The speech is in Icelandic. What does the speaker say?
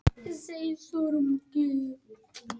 Bifreiðin hafnaði utan vegar